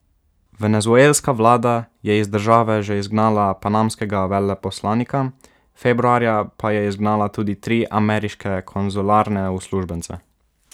Venezuelska vlada je iz države že izgnala panamskega veleposlanika, februarja pa je izgnala tudi tri ameriške konzularne uslužbence.